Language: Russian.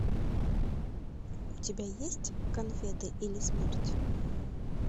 у тебя есть конфеты или смерть